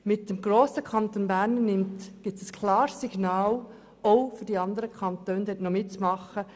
Mit dem grossen Kanton Bern gibt es ein klares Signal auch an die anderen Kantone, sich dort ebenfalls zu beteiligen.